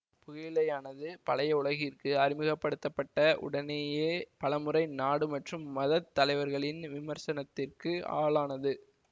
புகையிலையானது பழைய உலகிற்கு அறிமுக படுத்த பட்ட உடனேயே பலமுறை நாடு மற்றும் மதத் தலைவர்களின் விமர்சனத்திற்கு ஆளானது